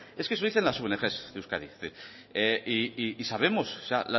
es que eso dicen las ong de euskadi es decir y sabemos o sea